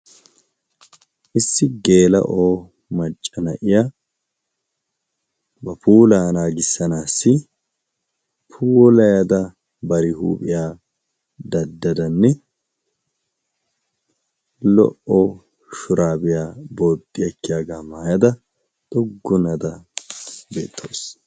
issi geela o macca na'iya bapulaanaa gissanaassi puulayada bari huuphiyaa daddadanne lo'o shuraabiyaa bootti akkiyaagaa maayada xoggunada beetoosona.